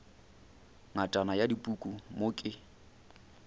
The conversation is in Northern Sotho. ngatana ya dipuku mo ke